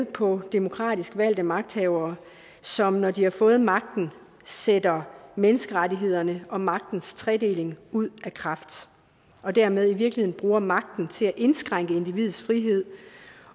på demokratisk valgte magthavere som når de har fået magten sætter menneskerettighederne og magtens tredeling ud af kraft og dermed i virkeligheden bruger magten til at indskrænke individets frihed